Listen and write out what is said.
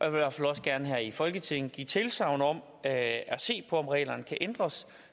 i hvert fald også gerne her i folketinget give tilsagn om at se på om reglerne kan ændres